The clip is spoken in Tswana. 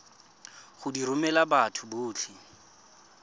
go di romela batho botlhe